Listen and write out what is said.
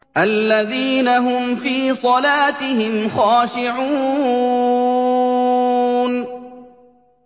الَّذِينَ هُمْ فِي صَلَاتِهِمْ خَاشِعُونَ